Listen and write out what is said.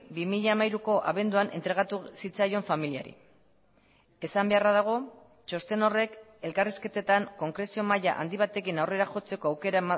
bi mila hamairuko abenduan entregatu zitzaion familiari esan beharra dago txosten horrek elkarrizketetan konkrezio maila handi batekin aurrera jotzeko aukera